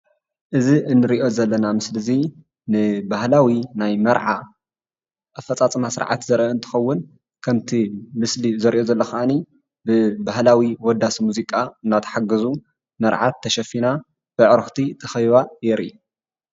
እዚ እንሪኦ ዘለና ምስሊ እዚ ንባህላዊ ናይ መርዓ ኣፈፃፅማ ስርዓት ዘርኢ እንትኸውን ከምቲ ምስሊ ዘርእዮ ዘሎ ከዓኒ ብባህላዊ ወዳሲ ሙዚቃ እናተሓገዙ መርዓት ተሸፊና ብኣዕርኽቲ ተኸቢባ የርኢ፡፡